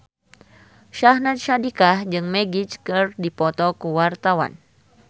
Syahnaz Sadiqah jeung Magic keur dipoto ku wartawan